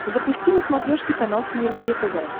запусти на смотрешке канал синергия тв